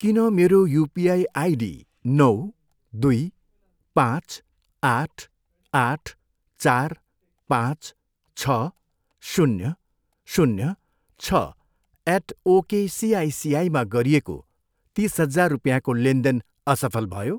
किन मेरो UPI ID नौ, दुई, पाँच, आठ, आठ, चार, पाँच, छ, शून्य, शून्य, छ, एट ओकेसिआइसिआईमा गरिएको तिस हजार रुपियाँको लेनदेन असफल भयो?